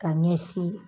Ka ɲɛsin